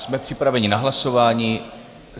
Jsme připraveni na hlasování.